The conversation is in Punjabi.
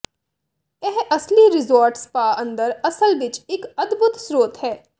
ਇਹ ਅਸਲੀ ਰਿਜ਼ੋਰਟ ਸਪਾ ਅੰਦਰ ਅਸਲ ਵਿੱਚ ਇੱਕ ਅਦਭੁੱਤ ਸਰੋਤ ਹੈ